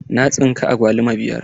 Na tsinka agwaluma biyar.